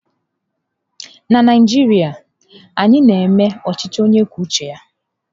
Na Naijiria, anyị na-eme ọchịchị onye kwuo uche ya